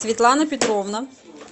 светлана петровна